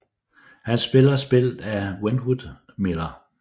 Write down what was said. Han bliver spillet af Wentworth Miller